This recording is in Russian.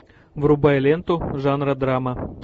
врубай ленту жанра драма